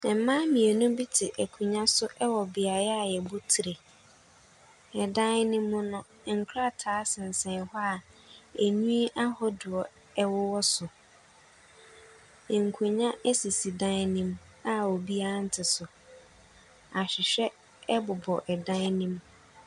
Mmaa mmienu bi te akonwa so ɛwɔ beae a yɛbɔ tiri. Ɛdan no mu no, nkrataa sensɛn hɔ a anwii ahodoɔ ɛwowɔ so. Nkonwa esisi dan ne mu a obiaa nte so. Ahwehwɛ ɛbobɔ ɛdan nim.